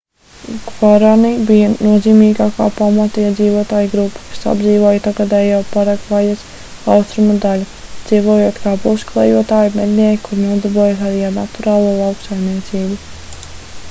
gvarani bija nozīmīgākā pamatiedzīvotāju grupa kas apdzīvoja tagadējo paragvajas austrumu daļu dzīvojot kā pusklejotāji mednieki kuri nodarbojās arī ar naturālo lauksaimniecību